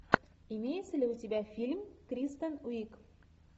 имеется ли у тебя фильм кристен уиг